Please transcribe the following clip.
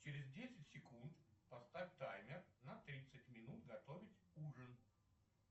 через десять секунд поставь таймер на тридцать минут готовить ужин